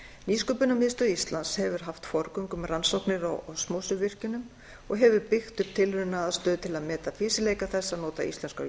nýsköpunarmiðstöð íslands hefur haft forgöngu um rannsóknir á osmósuvirkjunum og hefur byggt upp tilraunaaðstöðu til að meta fýsileika þess að nota íslenskar